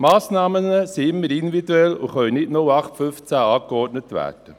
Die Massnahmen sind immer individuell und können nicht 08/15 angeordnet werden.